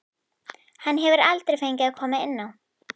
Hann hefur aldrei fengið að koma inn á.